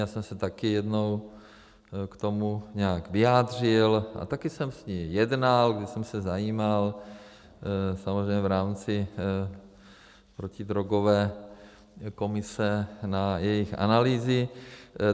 Já jsem se taky jednou k tomu nějak vyjádřil a taky jsem s ní jednal, když jsem se zajímal samozřejmě v rámci protidrogové komise na jejich analýzy.